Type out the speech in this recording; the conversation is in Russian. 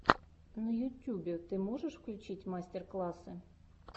на ютюбе ты можешь включить мастер классы